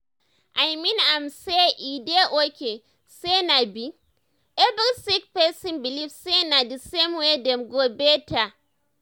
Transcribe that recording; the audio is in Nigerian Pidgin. i mean am say e dey okay say no be every sick person believe say na d same way dem go better. um